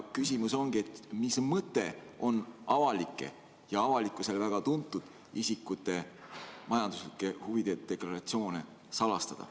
Küsimus ongi, mis mõte on avalikkusele teada olevate, ka väga tuntud isikute majanduslike huvide deklaratsioone salastada.